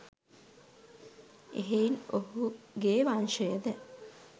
එහෙයින් ඔහු ගේ වංශය ද